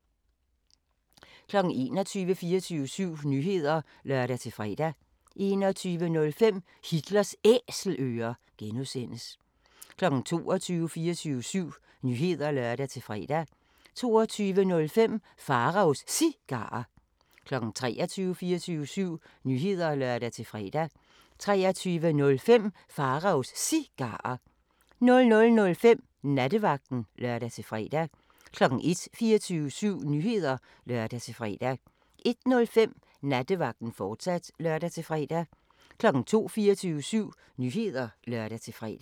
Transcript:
21:00: 24syv Nyheder (lør-fre) 21:05: Hitlers Æselører (G) 22:00: 24syv Nyheder (lør-fre) 22:05: Pharaos Cigarer 23:00: 24syv Nyheder (lør-fre) 23:05: Pharaos Cigarer 00:05: Nattevagten (lør-fre) 01:00: 24syv Nyheder (lør-fre) 01:05: Nattevagten, fortsat (lør-fre) 02:00: 24syv Nyheder (lør-fre)